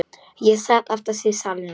Ég sat aftast í salnum.